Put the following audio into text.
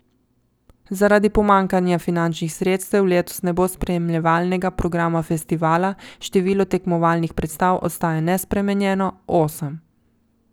Zaradi pomanjkanja finančnih sredstev letos ne bo spremljevalnega programa festivala, število tekmovalnih predstav ostaja nespremenjeno, osem.